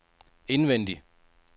indvendig